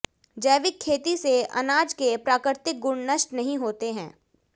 जैविक खेती से अनाज के प्राकृतिक गुण नष्ट नहीं होते हैं